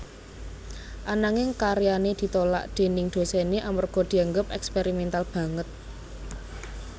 Ananging karyané ditolak déning dosené amarga dianggep eksperimental banget